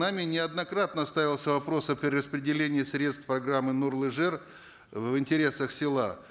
нами неоднократно ставился вопрос о перераспределении средств программы нурлы жер в интересах села